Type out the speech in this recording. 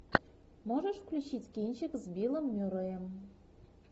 можешь включить кинчик с биллом мюрреем